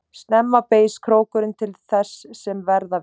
Snemma beygist krókurinn til þess sem verða vill.